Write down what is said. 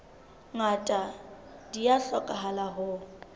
ngata di a hlokahala ho